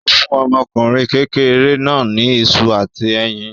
Ó fún ọmọkùnrin kékeré náà ní iṣu àti ẹyin.